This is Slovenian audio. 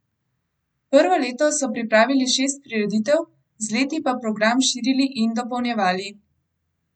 Prvo leto so pripravili šest prireditev, z leti pa program širili in dopolnjevali.